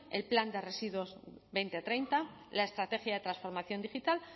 el plan de residuos dos mil treinta la estrategia de transformación digital